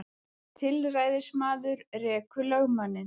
Tilræðismaður rekur lögmanninn